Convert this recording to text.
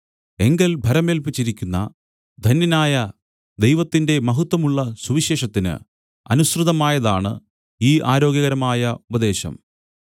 എങ്കൽ ഭരമേല്പിച്ചിരിക്കുന്ന ധന്യനായ ദൈവത്തിന്റെ മഹത്വമുള്ള സുവിശേഷത്തിന് അനുസൃതമായതാണ് ഈ ആരോഗ്യകരമായ ഉപദേശം